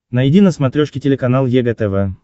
найди на смотрешке телеканал егэ тв